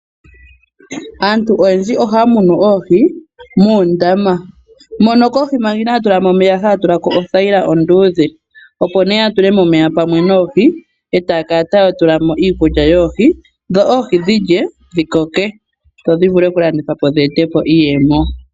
Aantu oyendji ohaya munu oohi moondama mono omanga inaya tula mo omeya haya tula mo oothayila kohi onduudhe, opo ne ya tule mo omeya pamwe noohi e ta ya kala taya tula mo iikulya yoohi, dho oohi dhi koke dho dhi vule okulandithwa po dhi e te iiyemo.